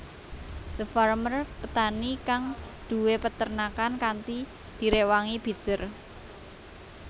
The Farmer petani kang duwé peternakan kanthi direwangi Bitzer